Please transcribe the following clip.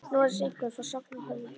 Noregs, einkum frá Sogni og Hörðalandi.